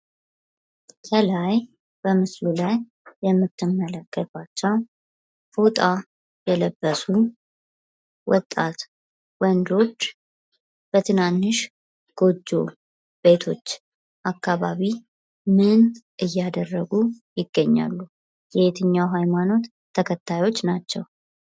ከላይ በምስሉ ላይ የምትመለከቷቸው ፎጣ የለበሱ ወጣት ወንዶች በትናንሽ ጎጆ ቤቶች አካባቢ ምን እያደረጉ ይገኛሉ። የየትኛው ሀይማኖት ተከታዮች ናቸው።